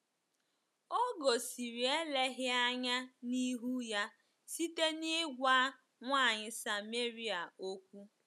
O gosiri eleghị anya n’ihu ya site n’ịgwa nwanyị Sameria okwu.